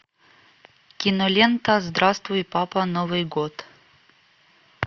кинолента здравствуй папа новый год